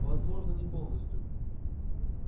возможно не полностью